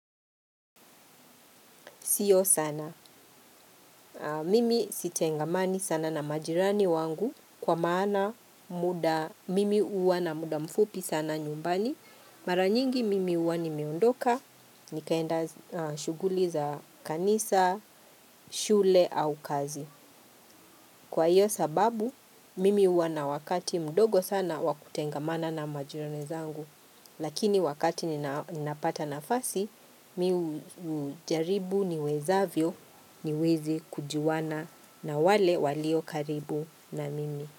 Sio sana. Mimi sitengamani sana na majirani wangu kwa maana muda mimi uwa na muda mfupi sana nyumbani. Mara nyingi mimi uwa nimeondoka. Nikaenda shuguli za kanisa, shule au kazi. Kwa hiyo sababu, mimi huwa na wakati mdogo sana wa kutengamana na majirani zangu, lakini wakati ninapata nafasi, mi hujaribu niwezavyo niweze kujuwana na wale walio karibu na mimi.